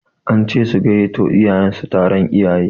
An ce su gayyato iyayen su taron iyaye